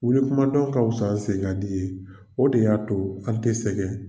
Wuli kumadɔn ka fisa n senkadi ye o de y'a to an tɛ sɛgɛn.